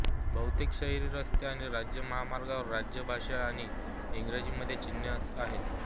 बहुतेक शहरी रस्ते आणि राज्य महामार्गांवर राज्य भाषा आणि इंग्रजीमध्ये चिन्हे आहेत